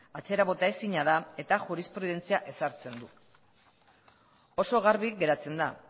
atzera bota ezina da eta jurisprudentzia ezartzen du oso garbi geratzen da